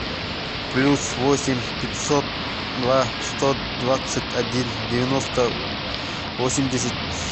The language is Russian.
плюс восемь пятьсот два сто двадцать один девяносто восемьдесят